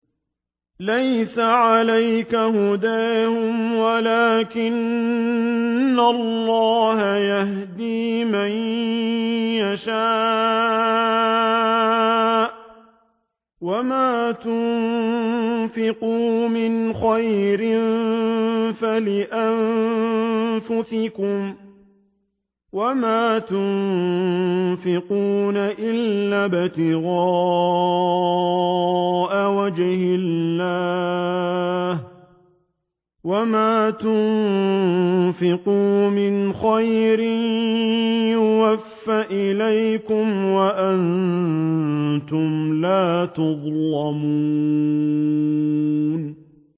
۞ لَّيْسَ عَلَيْكَ هُدَاهُمْ وَلَٰكِنَّ اللَّهَ يَهْدِي مَن يَشَاءُ ۗ وَمَا تُنفِقُوا مِنْ خَيْرٍ فَلِأَنفُسِكُمْ ۚ وَمَا تُنفِقُونَ إِلَّا ابْتِغَاءَ وَجْهِ اللَّهِ ۚ وَمَا تُنفِقُوا مِنْ خَيْرٍ يُوَفَّ إِلَيْكُمْ وَأَنتُمْ لَا تُظْلَمُونَ